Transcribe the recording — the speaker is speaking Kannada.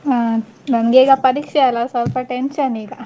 ಹಾ ನನ್ಗೆ ಈಗ ಪರೀಕ್ಷೆಯಲ್ಲ ಸ್ವಲ್ಪ tension ಈಗ.